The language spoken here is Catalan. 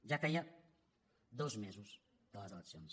ja feia dos mesos de les eleccions